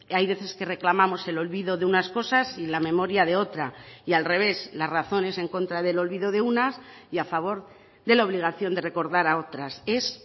hay veces que reclamamos el olvido de unas cosas y la memoria de otra y al revés las razones en contra del olvido de unas y a favor de la obligación de recordar a otras es